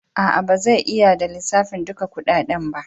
A'a, ba zai iya ba da lissafin dukan kudaden ba.